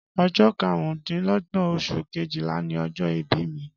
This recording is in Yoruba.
Ọjọ karun dín lógbón osun Kejìlá ni ọjọ ìbí mi